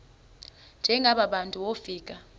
njengaba bantu wofika